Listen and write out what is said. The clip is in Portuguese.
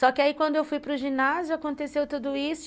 Só que aí, quando eu fui para o ginásio, aconteceu tudo isso.